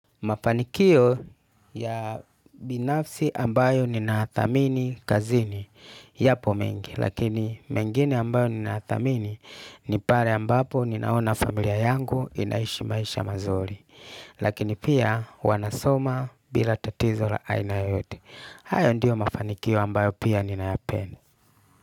Mafanikio ya binafsi ambayo ninayathamini kazini yapo mengi. Lakini mengine ambayo ninayathamini ni pale ambapo ninaona familia yangu inaishi maisha mazuri. Lakini pia wanasoma bila tatizo la aina yoyote. Hayo ndiyo mafanikio ambayo pia ninayapenda.